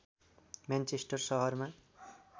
Manchester सहरमा